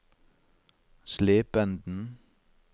Slependen